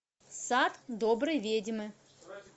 сад доброй ведьмы